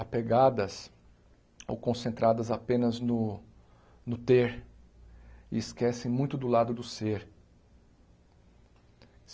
apegadas ou concentradas apenas no no ter e esquecem muito do lado do ser.